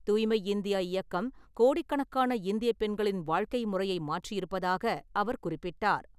தூய்மை இந்தியா இயக்கம் கோடிக்கணக்கான இந்திய பெண்களின் வாழ்க்கை முறையை மாற்றியிருப்பதாக அவர் குறிப்பிட்டார்.